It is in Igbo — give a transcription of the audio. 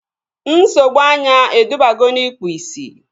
Nsogbu anya edubago n'ikpu ị̀sị̀